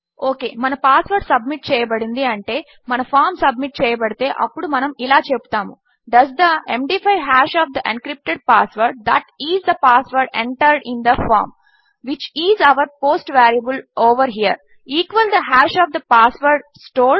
okay మన password submit చేయబడింది అంటే ఈ ఫామ్ సబ్మిట్ చేయబడితే అప్పుడు మనము ఇలా చెపుతాము does the MD five hash of the encrypted password that is the password entered in the form which is our post variable over here equal the hash of the password stored